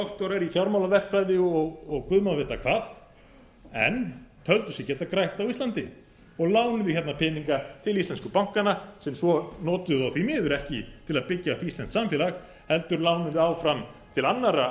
doktorar í fjármálaverkfræði og guð má vita hvað en töldu sig geta grætt á íslandi og lánuðu hingað peninga til íslensku bankanna sem svo notuðu þá því miður ekki til að byggja upp íslenskt samfélag heldur lánuðu áfram til annarra